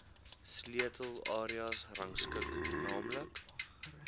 sleutelareas gerangskik naamlik